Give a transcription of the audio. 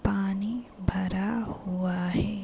पानी भरा हुआ है।